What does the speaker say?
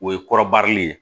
O ye kɔrɔbarili ye